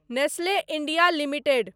Nestle India limited